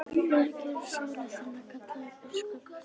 Þú fyrirgerir sálu þinni, kallaði biskup.